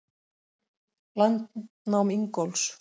Landnám Ingólfs.